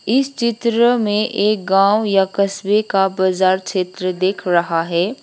इस चित्र में एक गांव या कस्बे का बाजार क्षेत्र देख रहा है।